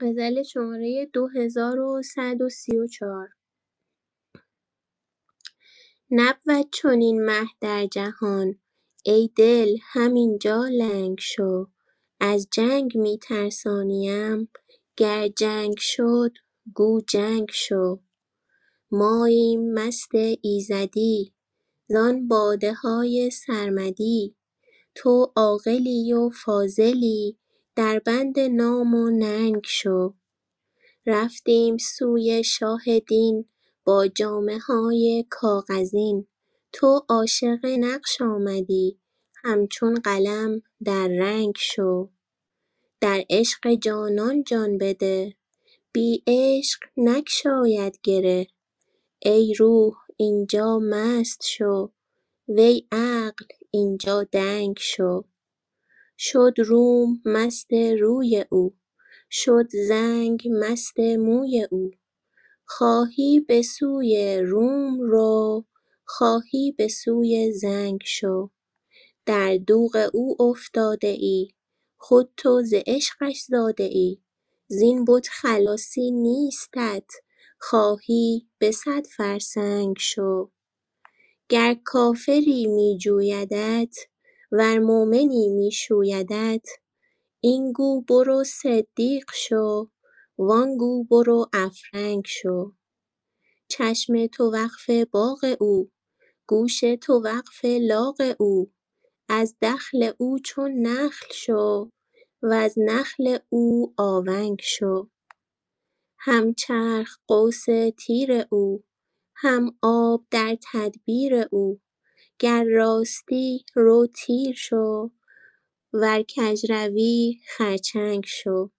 نبود چنین مه در جهان ای دل همین جا لنگ شو از جنگ می ترسانیم گر جنگ شد گو جنگ شو ماییم مست ایزدی زان باده های سرمدی تو عاقلی و فاضلی دربند نام و ننگ شو رفتیم سوی شاه دین با جامه های کاغذین تو عاشق نقش آمدی همچون قلم در رنگ شو در عشق جانان جان بده بی عشق نگشاید گره ای روح این جا مست شو وی عقل این جا دنگ شو شد روم مست روی او شد زنگ مست موی او خواهی به سوی روم رو خواهی به سوی زنگ شو در دوغ او افتاده ای خود تو ز عشقش زاده ای زین بت خلاصی نیستت خواهی به صد فرسنگ شو گر کافری می جویدت ورمؤمنی می شویدت این گو برو صدیق شو و آن گو برو افرنگ شو چشم تو وقف باغ او گوش تو وقف لاغ او از دخل او چون نخل شو وز نخل او آونگ شو هم چرخ قوس تیر او هم آب در تدبیر او گر راستی رو تیر شو ور کژروی خرچنگ شو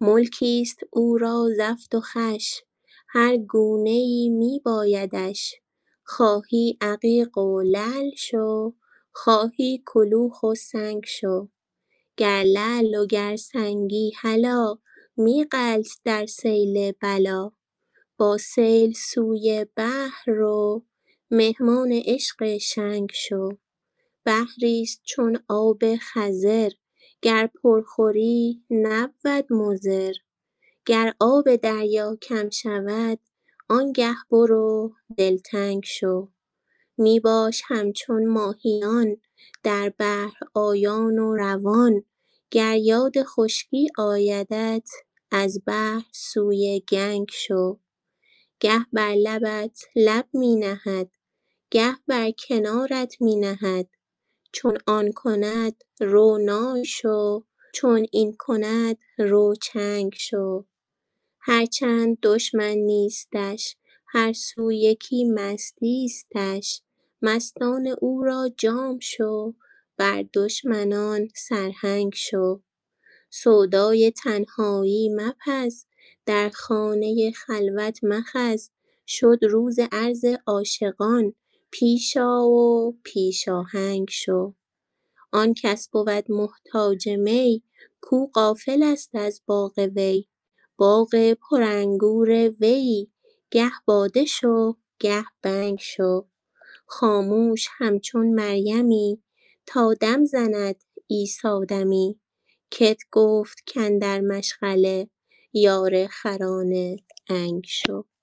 ملکی است او را زفت و خوش هر گونه ای می بایدش خواهی عقیق و لعل شو خواهی کلوخ و سنگ شو گر لعل و گر سنگی هلا می غلت در سیل بلا با سیل سوی بحر رو مهمان عشق شنگ شو بحری است چون آب خضر گر پر خوری نبود مضر گر آب دریا کم شود آنگه برو دلتنگ شو می باش همچون ماهیان در بحر آیان و روان گر یاد خشکی آیدت از بحر سوی گنگ شو گه بر لبت لب می نهد گه بر کنارت می نهد چون آن کند رو نای شو چون این کند رو چنگ شو هر چند دشمن نیستش هر سو یکی مستیستش مستان او را جام شو بر دشمنان سرهنگ شو سودای تنهایی مپز در خانه خلوت مخز شد روز عرض عاشقان پیش آ و پیش آهنگ شو آن کس بود محتاج می کو غافل است از باغ وی باغ پرانگور ویی گه باده شو گه بنگ شو خاموش همچون مریمی تا دم زند عیسی دمی کت گفت کاندر مشغله یار خران عنگ شو